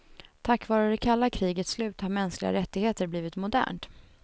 Tack var det kalla krigets slut har mänskliga rättigheter blivit modernt.